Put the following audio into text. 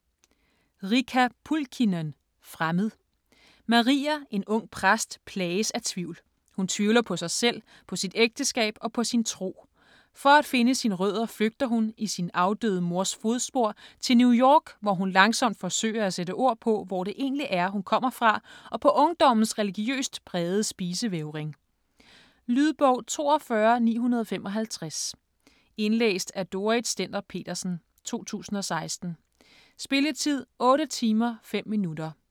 Pulkkinen, Riikka: Fremmed Maria, en ung præst, plages af tvivl. Hun tvivler på sig selv, på sit ægteskab og på sin tro. For at finde sine rødder flygter hun, i sin afdøde mors fodspor, til New York, hvor hun langsomt forsøger at sætte ord på, hvor det egentlig er, hun kommer fra og på ungdommens religiøst prægede spisevægring. Lydbog 42955 Indlæst af Dorrit Stender-Petersen, 2016. Spilletid: 8 timer, 5 minutter.